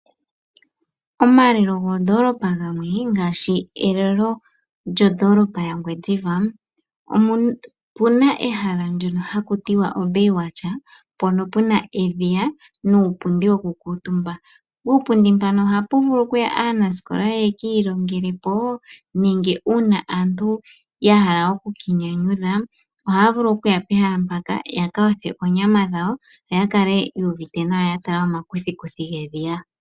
Omalelo goondoolopa gamwe ngaashi elelo lyondoolopa yaNgwediva omu na ehala ndyoka haku tiwa oBay Watch, mpoka pu na edhiya nuupundi wokukuutumba. Puupundi mpano ohapu vulu okuya aanasikola ya ka ilongele po nenge uuna aantu ya hala oku ka inyanyudha ohaya vulu okuya pehala mpaka ya ka yothe oonyama dhawo yo ya kale yu uvite nawa ya tala omakuthikuthi gedhiya.